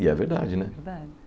E é verdade, né? Verdade